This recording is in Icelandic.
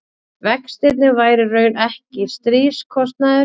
vextirnir væru í raun ekki stríðskostnaður